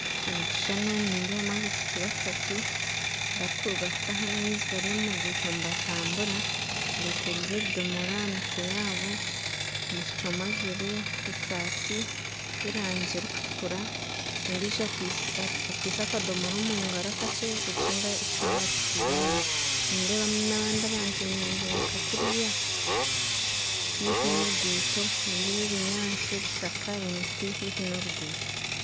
Omu kishushani omu nindeebamu abaishiki bashatu barikuruga kutaha amaizi bari omu ruguuto nibatambura bekoreire ebidomoora ahamitwe yaabo omwishiki omwe ajwaire esaati yerangi emwe erikutukura ondiijo akwaitse akadomora omungaro akakye ekihango akitaire aha mutwe nindeebamu nabandi abantu bemereire nkakuriya haihi noruguuto nindeeba ebinyasi miti ebishaka haihi noruguuto